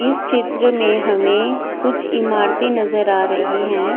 इस चित्र में हमें कुछ इमारतें नजर आ रही है।